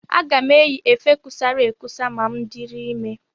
Aga m eyi efe kusara ekusa ma m dịrị ime.